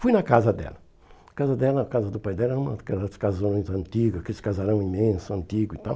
Fui na casa dela, a casa dela a casa do pai dela era uma das casas antigas, aqueles casarões imensos, antigos e tal.